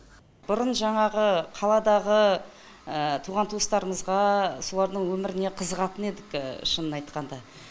бұрын жаңағы қаладағы туған туыстарымызға солардың өміріне қызығатын едік шынын айтқанда